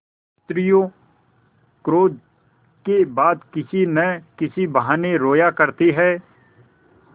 स्त्रियॉँ क्रोध के बाद किसी न किसी बहाने रोया करती हैं